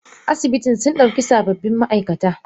Asibitin sundauki sababbin maaikata.